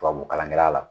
Tubabu kalankɛla la